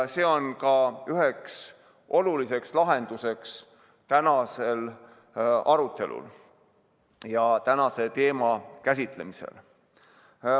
See on ka üks olulisi lahendusi tänasel arutelul ja tänase teema käsitlemisel.